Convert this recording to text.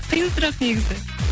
қиын сұрақ негізі